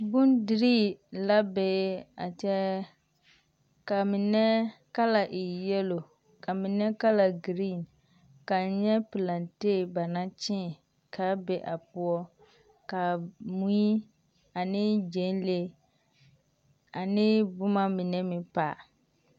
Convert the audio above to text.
Bondirii la bee a kyԑԑ, kaa mine kala e yԑlo ka mine kala giriiŋ. Ka N nyԑ pilaatee ba naŋ kyee kaa be a poͻ, kaa mui ane gyԑnlee ane boma mine meŋ pale.